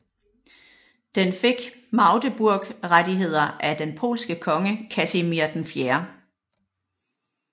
Den fik Magdeburgrettigheder af den polske konge Kasimir 4